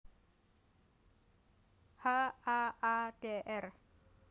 H A A Dr